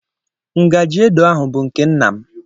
Ngajị edo edo ahụ bụ nke nna m.